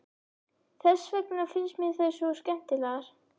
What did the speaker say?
Þess vegna finnst mér þær svo skemmtilegar.